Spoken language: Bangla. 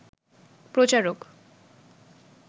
প্রচারক